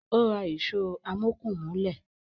Ó Ra ìṣó o amókùn mólẹ̀.